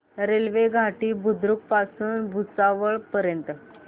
railway Ghoti Budruk पासून भुसावळ पर्यंत